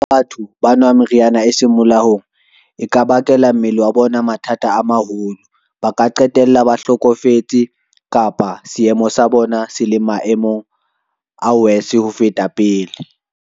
Batho ba nwa meriana e seng molaong e ka bakela mmele wa bona mathata a maholo. Ba ka qetella ba hlokofetse kapa seemo sa bona sele maemong a worse ho feta pele.